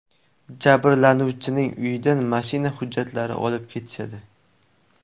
Jabrlanuvchining uyidan mashina hujjatlarini olib ketishadi.